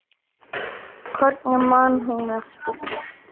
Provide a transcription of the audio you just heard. Hvernig man hún eftir mér?